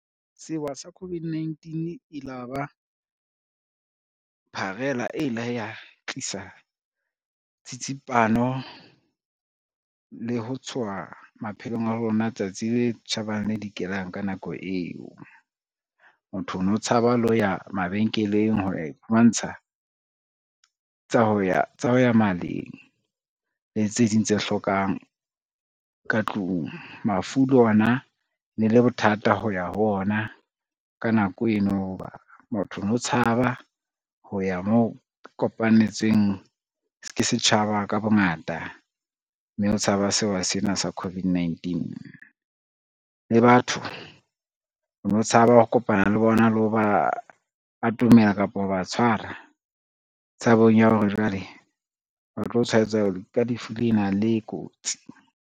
Sewa sa COVID-19 e la ba pharela e ile ya tlisa tsitsipano le ho tshoha maphelong a rona tsatsi le tjhabang le le dikelang ka nako eo. Motho o no tshaba le ho ya mabenkeleng ho ya iphumantsha tsa ho ya maleng le tse ding tse hlokang ka tlung. Mafu le ona ne le bothata ho ya ho ona ka nako eno ho ba motho ono tshaba ho ya mo kopanetsweng ke setjhaba ka bongata, mme o tshaba sewa sena sa COVID-19. Le batho o no tshaba ho kopana le bona, le ha ba atomela kapa ho ba tshwara tshabong ya hore jwale o tlo tshwaetsa ke lefu lena le kotsi.